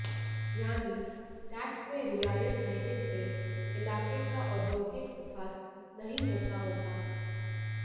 यानी टैक्स में रियायत देने से इलाके का औद्योगिक विकास नहीं होता होगा